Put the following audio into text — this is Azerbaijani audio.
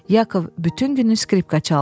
Yakov bütün günü skripka çaldı.